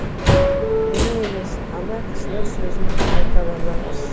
менің емес ана кісінің сөзін қайталанаңыз